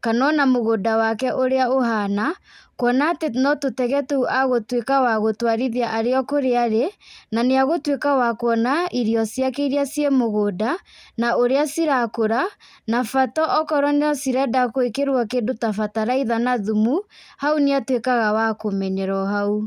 kana o na mũgũnda wake ũrĩa ũhana. Kuona atĩ no tũtege tũu agũtuĩka wa gũtwarithia arĩ o kũrĩa arĩ, na nĩagũtuĩka wa kuona irio ciake iria ciĩ mũgũnda, na ũrĩa cirakũra na bata okorwo no cirenda gwĩkirwo kĩndũ ta bataraitha na thumu, hau nĩ 0 wa kũmenyera o hau.